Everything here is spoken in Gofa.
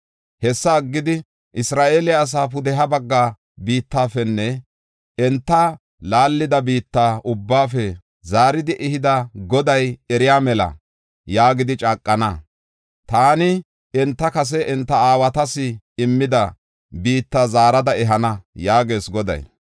Hessa aggidi, “ ‘Isra7eele asaa pudeha bagga biittafenne enta laallida biitta ubbaafe zaaridi ehida Goday eriya mela’ yaagidi caaqana. Taani enta kase enta aawatas immida biitta zaarada ehana” yaagees Goday.